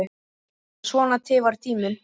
En svona tifar tíminn.